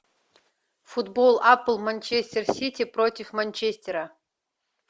футбол апл манчестер сити против манчестера